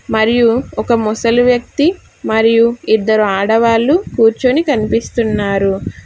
మరియు ఒక ముసలి వ్యక్తి మరియు ఇద్దరు ఆడవాళ్లు కూర్చొని కనిపిస్తున్నారు.